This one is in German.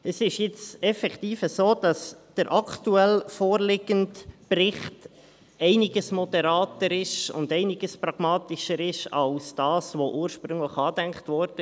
Es ist nun effektiv so, dass der aktuell vorliegende Bericht um einiges moderater und einiges pragmatischer ist, als das, was ursprünglich angedacht wurde.